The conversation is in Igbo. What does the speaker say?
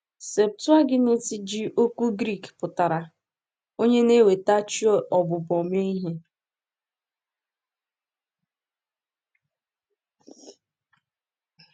Septụaginti ji okwu Grik pụtara “onye na-eweta chi ọbụbọ” mee ihe.